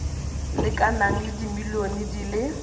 lekanang le dimilione di le